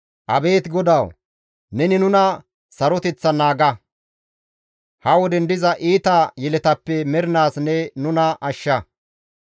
Abeet GODAWU! Neni nuna saroteththan naaga; ha woden diza iita yeletappe mernaas ne nuna ashsha.